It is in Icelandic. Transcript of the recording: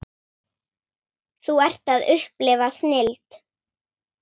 Þú ert að upplifa snilld.